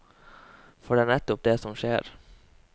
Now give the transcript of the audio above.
For det er nettopp det som skjer.